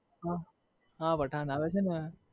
હ હા પઠાણ આવે છે ને